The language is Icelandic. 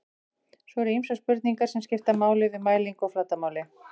svo eru ýmsar spurningar sem skipta máli við mælingu á flatarmáli